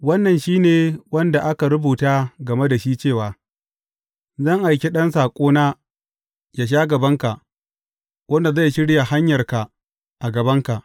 Wannan shi ne wanda aka rubuta game da shi cewa, Zan aiki ɗan saƙona yă sha gabanka, wanda zai shirya hanyarka a gabanka.’